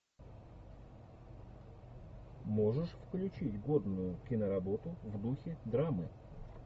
можешь включить годную киноработу в духе драмы